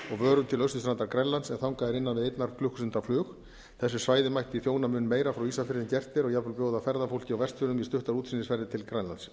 vörum til austurstranda grænlands en þangað er innan við einnar klukkustundar flug þessu svæði mætti þjóna mun meira frá ísafirði en gert er og jafnvel bjóða ferðafólki á vestfjörðum í stuttar útsýnisferðir til grænlands